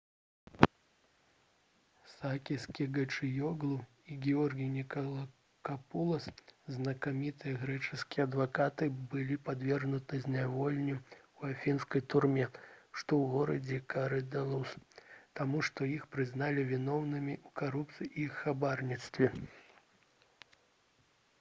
сакіс кечагіёглу і георгій нікалакапулас знакамітыя грэчаскія адвакаты былі падвергнуты зняволенню ў афінскай турме што ў горадзе карыдалус таму што іх прызналі вінаватымі ў карупцыі і хабарніцтве